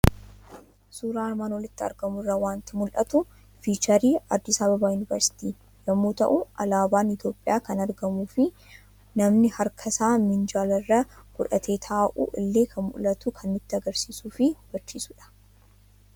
Suuraa armaan olitti argamu irraa waanti mul'atu; fiicharii "Addis Ababa university" yommuu ta'u, Alaaban Itoophiyaa kan argamufi namni harkasaa minjaala irra godhatee taa'u illee kan mul'atu kan nutti agarsiisufi hubachiisudha.